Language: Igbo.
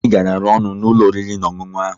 Nri garara ọnụ n'ụlọ oriri na ọṅụṅụ ahụ